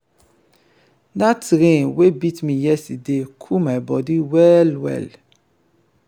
dat rain wey beat me yesterday cool my bodi well-well.